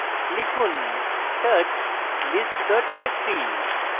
লিখুন: touch list txt txt